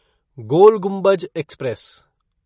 गोल Gumbaz express